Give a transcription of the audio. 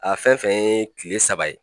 A fɛn fɛn ye kile saba ye